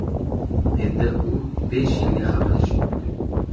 Endi u besh yilga qamalishi mumkin.